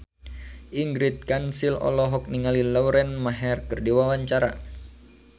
Ingrid Kansil olohok ningali Lauren Maher keur diwawancara